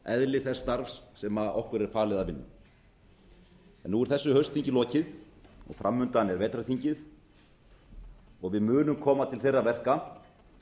eðli þess starfs sem okkur er falið að vinna en nú er þessu haustþingi lokið og framundan er vetrarþingið og við munum koma til þeirra verka